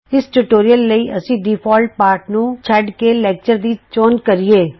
ਇਸ ਟਯੂਟੋਰਿਅਲ ਲਈ ਅਸੀਂ ਡਿਫੌਲਟ ਪਾਠ ਨੂੰ ਛੱਡ ਕੇ ਲੈਕਚਰ ਦੀ ਚੋਣ ਕਰੀਏ